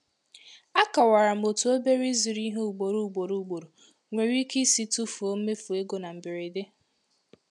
Akọwara m otú obere ịzụrụ ihe ugboro ugboro ugboro nwere ike isi tụfuo mmefu ego na mberede.